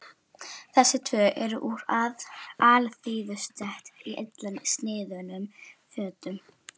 Þessi tvö eru úr alþýðustétt í illa sniðnum fötum.